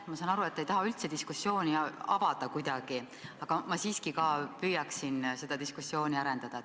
Ma saan aru, et te ei taha üldse diskussiooni avada, aga ma siiski püüan diskussiooni arendada.